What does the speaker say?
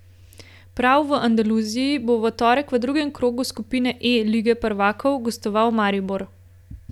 Prav v Andaluziji bo v torek v drugem krogu skupine E lige prvakov gostoval Maribor.